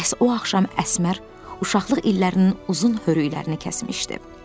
Məhz o axşam Əsmər uşaqlıq illərinin uzun hörüklərini kəsmişdi.